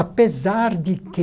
Apesar de que